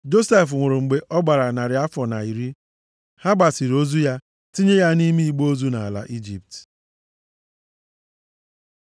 Josef nwụrụ mgbe ọ gbara narị afọ na iri. Ha gbasiri ozu ya, tinye ya nʼime igbe ozu, nʼala Ijipt.